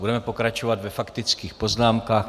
Budeme pokračovat ve faktických poznámkách.